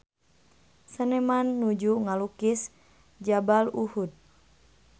Seniman nuju ngalukis Jabal Uhud